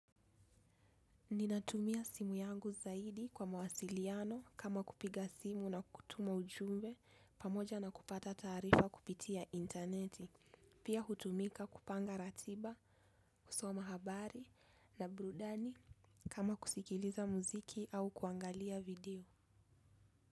Ninatumia simu yangu zaidi kwa mawasiliano kama kupiga simu na kutuma ujumbe pamoja na kupata taarifa kupitia interneti, pia hutumika kupanga ratiba, kusoma habari na burudani kama kusikiliza muziki au kuangalia video.